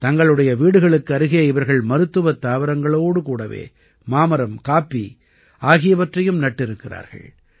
தங்களுடைய வீடுகளுக்கு அருகே இவர்கள் மருத்துவத் தாவரங்களோடு கூடவே மாமரம் காப்பி ஆகியவற்றையும் நட்டிருக்கிறார்கள்